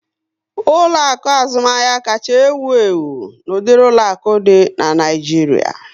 Ụlọaku azụmahịa kacha ewu ewu n'udiri ụlọaku di na Naijiria